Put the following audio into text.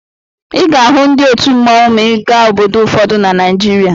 Ị ga-ahụ ndị otu mmọnwụ ma ị gaa obodo ụfọdụ na Naịjirịa.